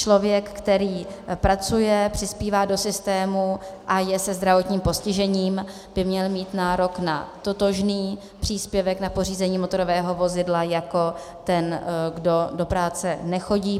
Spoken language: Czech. Člověk, který pracuje, přispívá do systému a je se zdravotním postižením, by měl mít nárok na totožný příspěvek na pořízení motorového vozidla jako ten, kdo do práce nechodí.